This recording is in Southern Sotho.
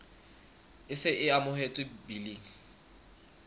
e se e amohetswe biling